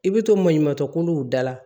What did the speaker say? I bɛ to maɲumantɔ kuluw dala